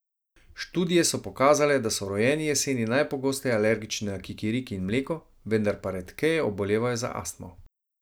Študije so pokazale, da so rojeni jeseni najpogosteje alergični na kikiriki in mleko, vendar pa redkeje obolevajo za astmo.